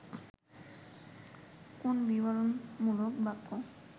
কোন বিবরণমূলক বাক্য